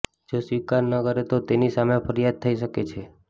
જો સ્વીકાર ન કરે તો તેની સામે ફરિયાદ થઇ શકે છે